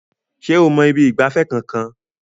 Ṣé o mọ ibi ìgbafẹ́ kankan?